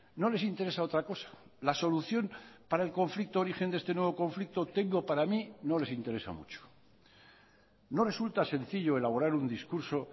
no les interesa otra cosa la solución para el conflicto origen de este nuevo conflicto tengo para mí no les interesa mucho no resulta sencillo elaborar un discurso